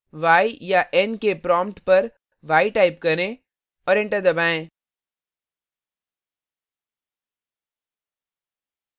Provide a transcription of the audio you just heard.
y याn के prompt पर y type करें और enter दबाएं